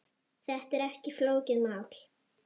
Þetta er ekki flókið mál.